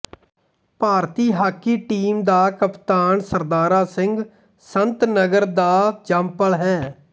ਭਾਰਤੀ hockey team ਦਾ ਕਪਤਾਨ ਸਰਦਾਰਾ ਸਿੰਘ ਸੰਤਨਗਰ ਦਾ ਜੰਮਪਲ ਹੈ